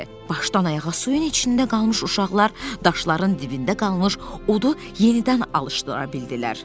Başdan ayağa suyun içində qalmış uşaqlar daşların dibində qalmış odu yenidən alışdıra bildilər.